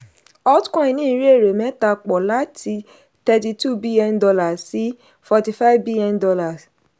altcoin ní ìrírí èrè mẹ́ta pọ láti thirty two bn dollar sí forty five bn dollars.